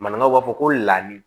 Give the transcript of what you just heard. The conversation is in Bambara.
Maninkaw b'a fɔ ko ladi